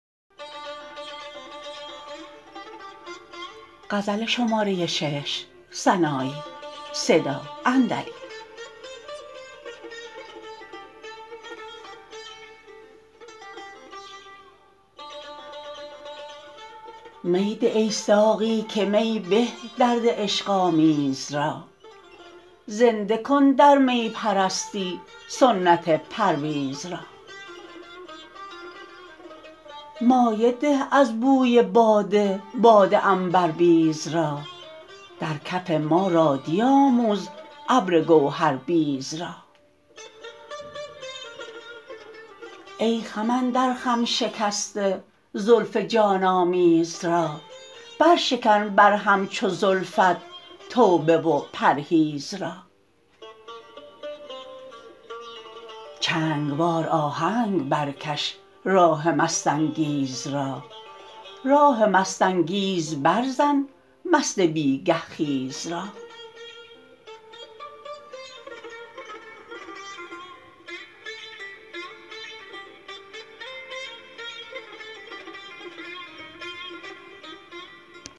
می ده ای ساقی که می به درد عشق آمیز را زنده کن در می پرستی سنت پرویز را مایه ده از بوی باده باد عنبربیز را در کف ما رادی آموز ابر گوهر بیز را ای خم اندر خم شکسته زلف جان آمیز را بر شکن بر هم چو زلفت توبه و پرهیز را چنگ وار آهنگ برکش راه مست انگیز را راه مست انگیز بر زن مست بیگه خیز را